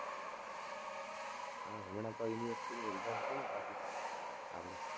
હં, હમણાં તો university ની exam હતી ને પાછી આપણે,